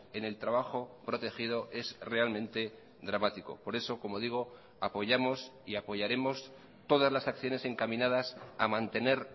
en el trabajo protegido es realmente dramático por eso como digo apoyamos y apoyaremos todas las acciones encaminadas a mantener